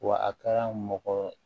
Wa a kɛra mɔgɔ